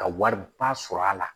Ka wariba sɔrɔ a la